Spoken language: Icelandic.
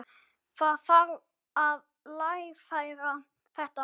Það þarf að lagfæra þetta.